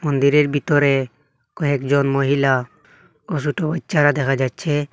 মন্দিরের বিতরে কয়েকজন মহিলা ও সোট বাইচ্চারা দেখা যাচ্ছে।